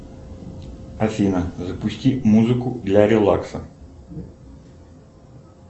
афина запусти музыку для релакса